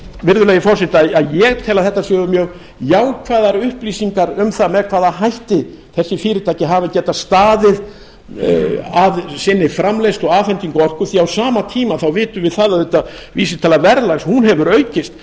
virðulegi forseti að ég tel að þetta séu mjög jákvæðar upplýsingar um það með hvaða hætti þessi fyrirtæki hafa getað staðið að sinni framleiðslu og afhendingu orku því á sama tíma þá vitum við það auðvitað að vísitala verðlags hún hefur aukist